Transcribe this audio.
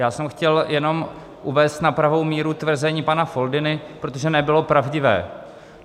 Já jsem chtěl jenom uvést na pravou míru tvrzení pana Foldyny, protože nebylo pravdivé.